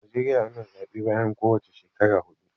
A Najeriya ana zaɓe bayan ko wace shekara huɗu.